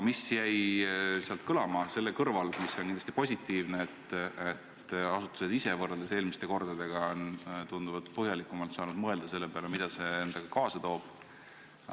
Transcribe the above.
Seal jäi positiivsena kõlama, et asutused ise on võrreldes eelmiste kordadega tunduvalt põhjalikumalt saanud mõelda, mida see endaga kaasa toob.